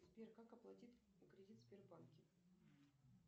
сбер как оплатить кредит в сбербанке